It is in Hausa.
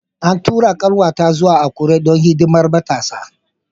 An tura 'yar'uwata zuwa Akure don hidimar Matasa.